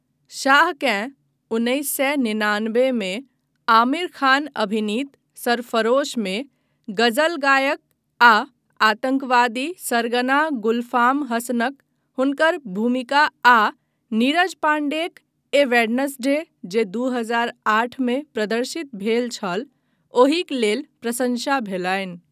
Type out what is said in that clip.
शाहकेँ उन्नैस सए निनानबे मे आमिर खान अभिनीत सरफरोशमे गजल गायक आ आतंकवादी सरगना गुलफाम हसनक हुनकर भूमिका आ नीरज पाण्डेक 'ए वेडनेस्डे' जे दू हजार आठमे प्रदर्शित भेल छल, ओहिक लेल प्रशंसा भेलनि।